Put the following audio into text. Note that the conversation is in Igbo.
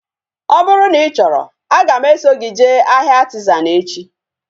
Ọ bụrụ na ị chọrọ, aga m eso gị jee ahịa Artizan echi